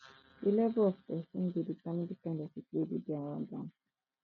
di level of persin de determine di kind pipo wey de dey around am am